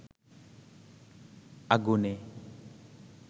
আগুনে